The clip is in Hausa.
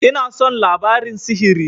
Ina son labarin sihiri.